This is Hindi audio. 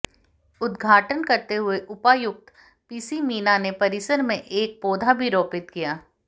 उद्घाटन करते हुए उपायुक्त पीसी मीणा ने परिसर में एक पौधा भी रोपित किया